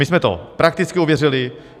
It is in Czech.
My jsme to prakticky ověřili.